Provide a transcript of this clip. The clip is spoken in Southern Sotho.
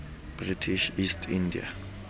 british east india